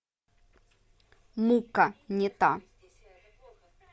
мука не та